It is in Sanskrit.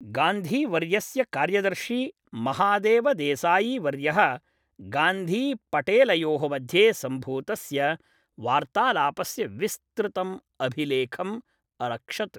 गान्धी वर्यस्य कार्यदर्शी महादेव देसायी वर्यः गान्धीपटेलयोः मध्ये सम्भूतस्य वार्तालापस्य विस्तृतम् अभिलेखम् अरक्षत्।